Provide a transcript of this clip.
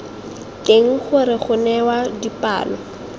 teng gore go newa dipalo